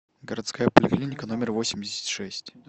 городская поликлиника номер восемьдесят шесть